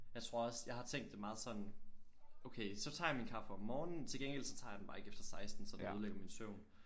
Jeg tror også jeg har tænkt det meget sådan okay så tager jeg min kaffe om morgenen til gengæld så tager jeg den bare ikke efter 16 så den ødelægger min søvn